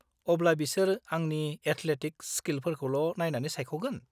अब्ला बिसोर आंनि एटलेटिक स्किलफोरखौल' नायनानै सायख'गोन?